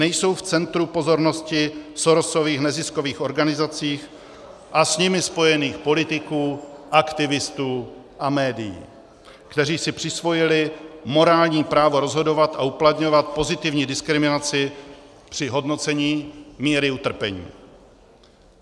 Nejsou v centru pozornosti Sorosových neziskových organizací a s nimi spojených politiků, aktivistů a médií, kteří si přisvojili morální právo rozhodovat a uplatňovat pozitivní diskriminaci při hodnocení míry utrpení.